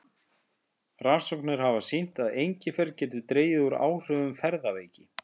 Rannsóknir hafa sýnt að engifer getur dregið úr áhrifum ferðaveiki.